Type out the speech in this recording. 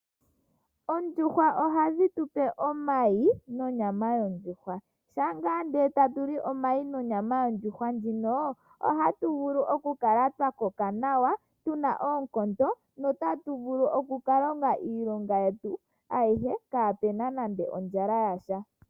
Oondjuhwa ohadhitupe omayi nonyama yoondjuhwa, shampa ndee tatuli omayi nonyama yoondjuhwa ndjino ,otatuvulu okukala twakoka nawa tuna oonkondo notatu vulu okukalongo iilonga yetu kaapena nande ondjala yasha.